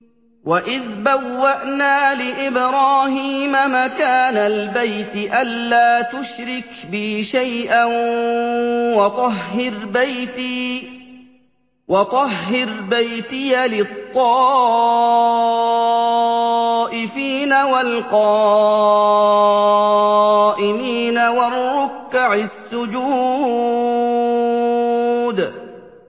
وَإِذْ بَوَّأْنَا لِإِبْرَاهِيمَ مَكَانَ الْبَيْتِ أَن لَّا تُشْرِكْ بِي شَيْئًا وَطَهِّرْ بَيْتِيَ لِلطَّائِفِينَ وَالْقَائِمِينَ وَالرُّكَّعِ السُّجُودِ